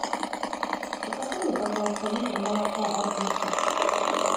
закажи мне пожалуйста литр молока агуша